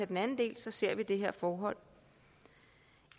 den anden del så ser vi det her forhold